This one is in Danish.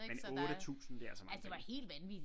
Men 8000 det er altså mange penge